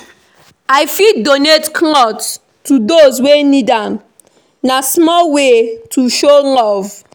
I fit donate clothes to those wey need am; na small way to show love.